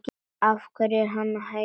Hverju er hann að heita?